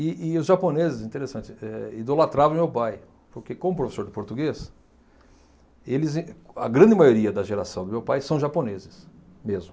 E e os japoneses, interessante, eh idolatravam meu pai, porque como professor de português, eles em a grande maioria da geração do meu pai são japoneses mesmo.